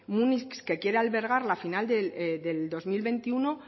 múnich que quiere albergar la final del dos mil veintiuno